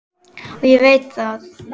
Já, ég veit það